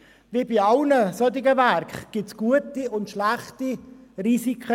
Wie bei allen solchen Werken gibt es gute und schlechte Risiken.